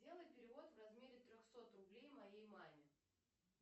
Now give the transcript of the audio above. сделай перевод в размере трехсот рублей моей маме